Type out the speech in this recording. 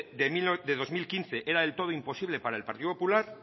del dos mil quince era del todo imposible para el partido popular